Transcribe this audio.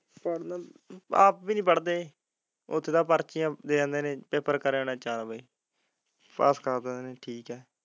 ਚੱਲ ਆਪ ਵੀ ਨਹੀਂ ਪੜਦੇ ਉੱਥੇ ਤਾ ਪੜ ਕੇ ਦੇ ਆਉਂਦੇ ਨੇ ਪੇਪਰ ਕਰ ਚਾਰ ਵੱਜੇ ਪਾਸ ਕਰ ਦੇਣਾ ਬਸ ਠੀਕ ਹੈ।